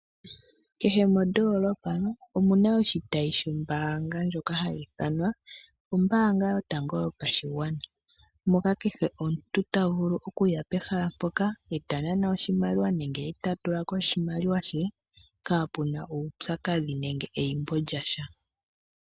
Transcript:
Kehe moodoolopa omuna oshitayi shombaanga ndjoka hayi ithanwa ombaanga yotango yopashigwana, moka kehe omuntu tavulu okuya pehala mpoka eta nana oshimaliwa nenge eta tula ko oshimaliwa she kaapuna uupyakadhi nenge eyimbo lyasha.